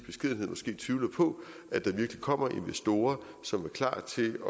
tvivler på at der virkelig kommer investorer som er klar til